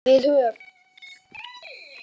Við höf